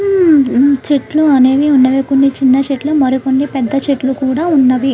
చెట్లు అనేవి ఉన్నవి కొన్ని చిన్న చెట్లు మరికొన్ని పెద్ద చెట్లు కూడా ఉన్నవి.